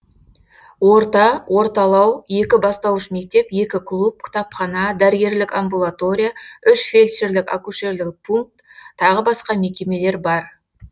орта орталау екі бастауыш мектеп екі клуб кітапхана дәрігерлік амбулатория үш фельдшірлік акушерлік пункт тағы басқа мекемелер бар